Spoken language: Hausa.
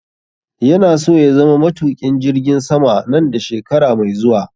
yana so ya zama matuƙin jirgin sama nan da shekara mai zuwa